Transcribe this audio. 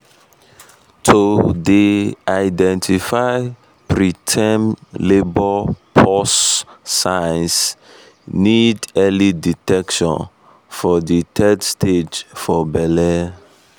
to dey identify preterm labour pause signs need early detection for de third stage for belle